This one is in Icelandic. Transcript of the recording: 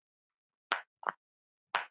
Sú stund hefur runnið upp.